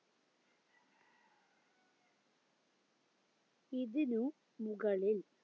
ഇതിന് മുകളിൽ